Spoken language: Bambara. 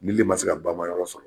Nili le man se ka bama yɔrɔ sɔrɔ.